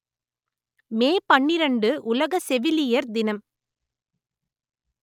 மே பன்னிரண்டு உலக செவிலியர் தினம்